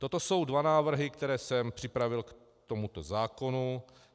Toto jsou dva návrhy, které jsem připravil k tomuto zákonu.